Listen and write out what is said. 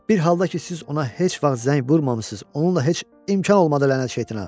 Bir halda ki, siz ona heç vaxt zəng vurmamısınız, onunla heç imkan olmadı, lənət şeytana.